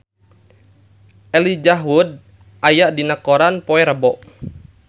Elijah Wood aya dina koran poe Rebo